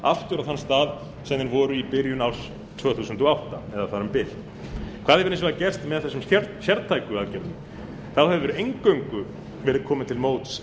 aftur á þann stað sem menn voru í byrjun árs tvö þúsund og átta eða þar um bil hvað verður hins vegar gert með þessum sértæku aðgerðum það hefur eingöngu verið komið til móts